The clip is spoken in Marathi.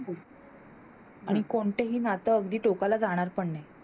आणि कोणतंही नातं अगदी टोकाला जाणार पण नाही.